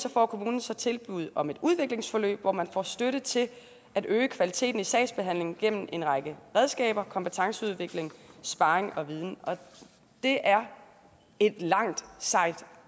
får kommunen så tilbud om et udviklingsforløb hvor man får støtte til at øge kvaliteten i sagsbehandlingen gennem en række redskaber kompetenceudvikling sparring og viden og det er et langt sejt